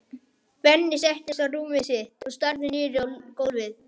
Benni settist á rúmið sitt og starði niður á gólfið.